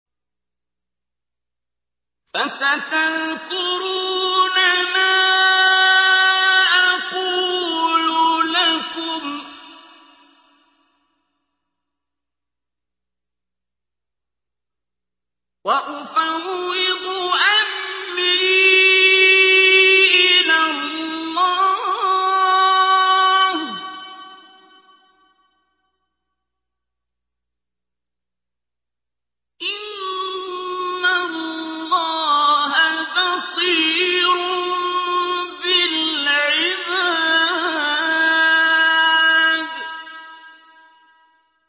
فَسَتَذْكُرُونَ مَا أَقُولُ لَكُمْ ۚ وَأُفَوِّضُ أَمْرِي إِلَى اللَّهِ ۚ إِنَّ اللَّهَ بَصِيرٌ بِالْعِبَادِ